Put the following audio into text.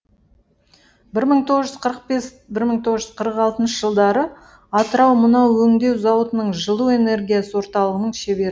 бір мың тоғыз жүз қырық бес бір мың тоғыз жүз қырық алтыншы жылдары атырау мұнай өңдеу зауытының жылу энергиясы орталығының шебер